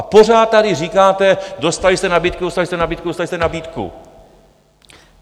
A pořád tady říkáte: Dostali jste nabídku, dostali jste nabídku, dostali jste nabídku!